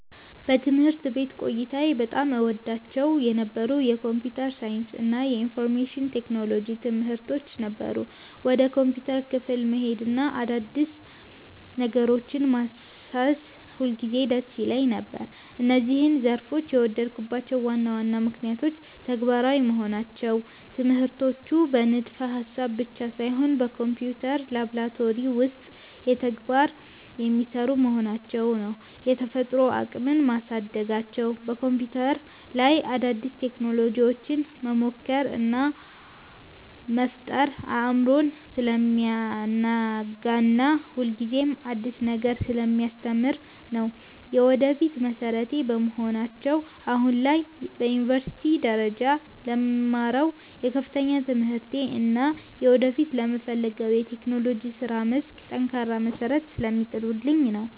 በትምህርት ቤት ቆይታዬ በጣም እወዳቸው የነበሩት የኮምፒውተር ሳይንስ እና የኢንፎርሜሽን ቴክኖሎጂ (IT) ትምህርቶች ነበሩ። ወደ ኮምፒውተር ክፍል መሄድና አዳዲስ ነገሮችን ማሰስ ሁልጊዜም ደስ ይለኝ ነበር። እነዚህን ዘርፎች የወደድኩባቸው ዋና ዋና ምክንያቶች፦ ተግባራዊ መሆናቸው፦ ትምህርቶቹ በንድፈ-ሐሳብ ብቻ ሳይሆን በኮምፒውተር ላብራቶሪ ውስጥ በተግባር (Practical) የሚሰሩ በመሆናቸው ነው። የፈጠራ አቅምን ማሳደጋቸው፦ በኮምፒውተር ላይ አዳዲስ ቴክኖሎጂዎችን መሞከር እና መፍጠር አእምሮን ስለሚያናጋና ሁልጊዜም አዲስ ነገር ስለሚያስተምር ነው። የወደፊት መሠረቴ በመሆናቸው፦ አሁን ላይ በዩኒቨርሲቲ ደረጃ ለምማረው የከፍተኛ ትምህርቴ እና ወደፊት ለምፈልገው የቴክኖሎጂ የሥራ መስክ ጠንካራ መሠረት ስለሚጥሉልኝ ነው።